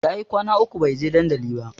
Yayi kwana uku bai je dandali ba